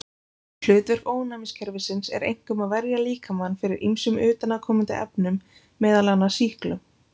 Hlutverk ónæmiskerfisins er einkum að verja líkamann fyrir ýmsum utanaðkomandi efnum, meðal annars sýklum.